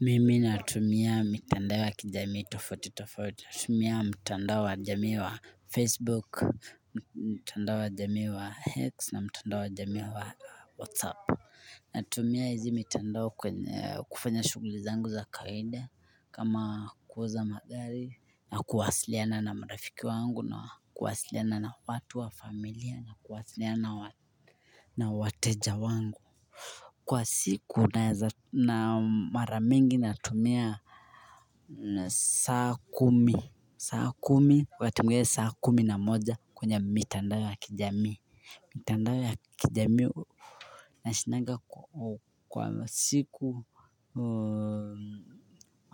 Mimi natumia mitandao ya kijamii tofauti tofauti, natumia mitandao wa jamii wa Facebook, mitandao wa jamii wa x, na mitanda wa jamii wa WhatsApp. Natumia hizi mitandao kufanya shuguli zangu za kaide, kama kouza magari, na kuwasiliana na marafiki wangu, na kuwasiliana na watu wa familia, na kuwasiliana na watu wateja wangu. Kwa siku na mara mingi natumia saa kumi saa kumi watemgea saa kumi na moja kwenye mitandao ya kijami. Mitandao ya kijamii nashindanga kwa siku